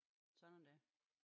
Sådan er det